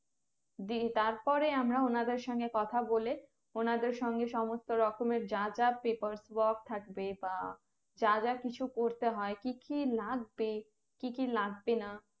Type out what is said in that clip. দিয়ে তার পরে আমরা ওনাদের সঙ্গে কথা বলে ওনাদের সঙ্গে সমস্ত রকমের যা যা Papers work থাকবে বা যা যা কিছু করতে হয় কি কি লাগবে কি কি লাগবে না